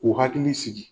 K'u hakili sigi